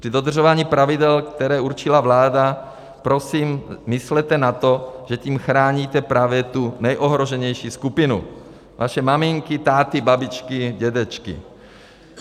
Při dodržování pravidel, které určila vláda, prosím myslete na to, že tím chráníte právě tu nejohroženější skupinu - své maminky, táty, babičky, dědečky.